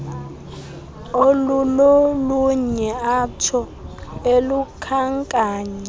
olulolunye atsho elukhankanya